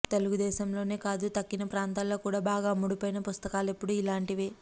తెలుగు దేశంలోనే కాదు తక్కిన ప్రాంతాల్లో కూడా బాగా అమ్ముడుపోయిన పుస్తకాలెపుడూ ఇలాంటివే